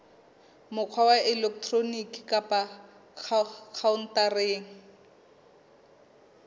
mokgwa wa elektroniki kapa khaontareng